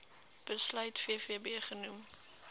besluit vvb genoem